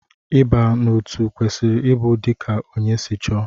Ịba n'otu kwesịrị ịbụ dika ónyé si chọọ.